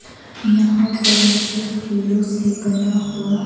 यहां पर मुझे फूलों से बना हुआ--